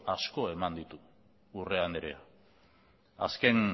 asko eman ditu urrea anderea azken